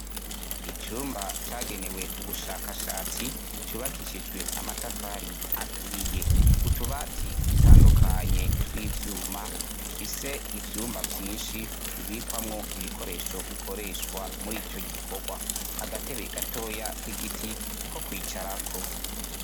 Icumba cagenewe ubushakashatsi ,cubakishijwe amatafari aturiye. Utubati dutandukanye tw'ivyuma dufise ivyumba vyinshi bibikwamwo ibikoresho bikoreshwa mur'ico gikorwa. Agatebe gatoya ko kwicarako.